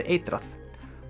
eitrað